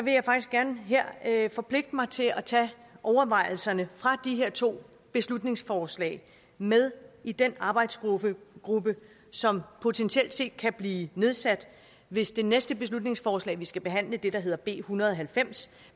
jeg faktisk gerne her her forpligte mig til at tage overvejelserne fra de her to beslutningsforslag med i den arbejdsgruppe som potentielt set kan blive nedsat hvis det næste beslutningsforslag vi skal behandle det der hedder b en hundrede og halvfems